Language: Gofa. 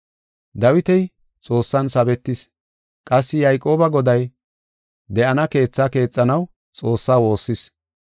Dawiti Xoossan sabetis. Qassi Yayqooba Goday de7ana keethaa keexanaw Xoossaa woossis.